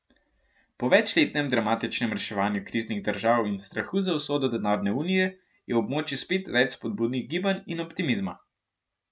Po večletnem dramatičnem reševanju kriznih držav in strahu za usodo denarne unije je v območju spet več spodbudnih gibanj in optimizma.